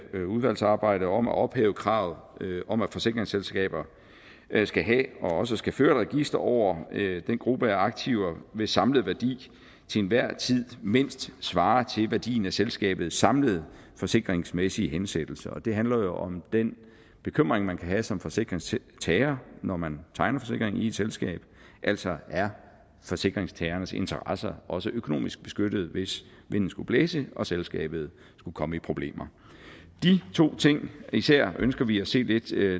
udvalgsarbejde om at ophæve kravet om at forsikringsselskaber skal have og også skal føre register over den gruppe af aktiver hvis samlede værdi til enhver tid mindst svarer til værdien af selskabets samlede forsikringsmæssige hensættelser det handler jo om den bekymring man kan have som forsikringstager når man tegner en forsikring i et selskab altså er forsikringstagernes interesser også økonomisk beskyttet hvis vinden skulle blæse og selskabet skulle komme i problemer de to ting især ønsker vi at se lidt